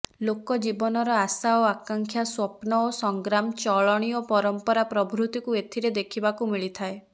ଲୋକଜୀବନର ଆଶା ଓ ଆକାଂକ୍ଷା ସ୍ୱପ୍ନ ଓ ସଂଗ୍ରାମ ଚଳଣି ଓ ପରମ୍ପରା ପ୍ରଭୃତିକୁ ଏଥିରେ ଦେଖିବାକୁ ମିଳିଥାଏ